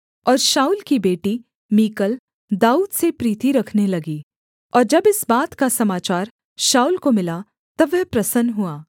और शाऊल की बेटी मीकल दाऊद से प्रीति रखने लगी और जब इस बात का समाचार शाऊल को मिला तब वह प्रसन्न हुआ